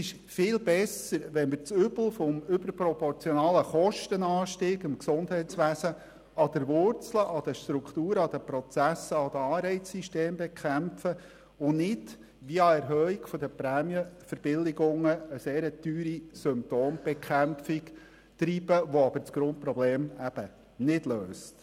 Viel besser ist es, das Übel des überproportionalen Kostenanstiegs im Gesundheitswesen an den Wurzeln – den Strukturen, den Prozessen sowie den Anreizsystemen – zu bekämpfen und nicht via Erhöhung der Prämienverbilligungen eine sehr teure Symptombekämpfung zu betreiben, die das Grundproblem eben nicht löst.